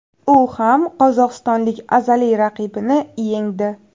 U ham qozog‘istonlik azaliy raqibini yengdi.